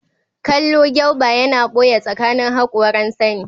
kallo gyauba yana ɓoye tsakanin haƙoran Sani